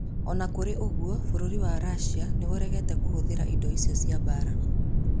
O na kũrĩ ũguo, Bũrũri wa Russia nĩ ũregete kũhũthĩra indo icio cia mbaara